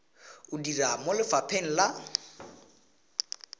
o dira mo lefapheng la